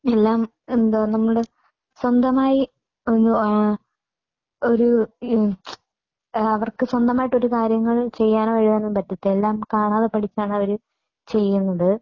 എല്ലാം എന്താ നമ്മുടെ സ്വന്തമായി ഒരു അവർക്ക് സ്വന്തമായിട്ട് ഒരു കാര്യങ്ങളും ചെയ്യാനോ ഒന്നും പറ്റത്തില്ല. എല്ലാം കാണാതെ പഠിച്ചാണ് അവർ ചെയ്യുന്നത്.